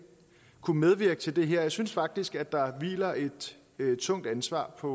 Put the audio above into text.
kunne medvirke til det her jeg synes faktisk der hviler et tungt ansvar på